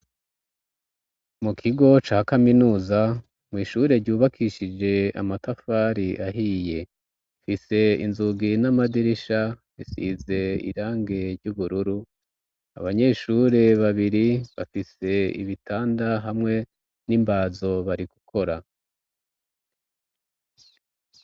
Mu kigo ca kaminuza mw'ishure ryubakishije amatafari ahiye, ifise inzugi n'amadirisha isize irangi ry'ubururu, abanyeshure babiri bafise ibitanda hamwe n'imbazo bari gukora.